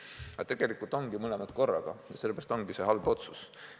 Aga tegelikult ongi mõlemat korraga, sellepärast ongi see halb otsus.